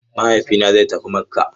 Mahaifina zai tafi Makka.